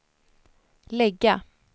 lägga